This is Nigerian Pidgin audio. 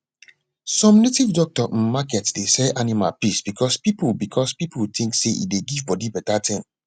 some native doctor um market dey sell animal piss because pipu because pipu think say e dey give bodi better ting